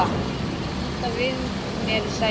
Ýta við mér í sætinu.